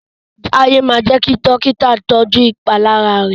T'aiye má jé kí Dọ́kítà tọjú ìpalára rẹ?